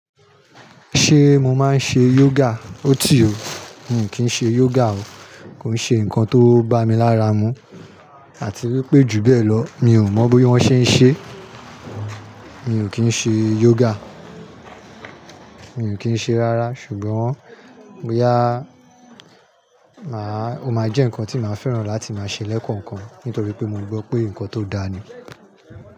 Ṣé mo máa ń ṣe yoga? Ótì o, mi ò kí ń ṣe yoga o. Kò ń ṣe nǹkan tó ń bá mi lára mu àti wípé jù bẹ́ẹ̀ lọ, mi ò mọ bí wón ṣe ń ṣe. Mi ò kí ń ṣe yoga. Mi ò kí ń ṣe rárá ṣùgbọ́n bo yá, màá, ó máa jẹ́ nǹkan tí màá fẹ́ràn láti máa ṣe lẹ́kọ̀ọ̀kan nítorí pé mo gbọ́ pé nǹkan tó dáa ni.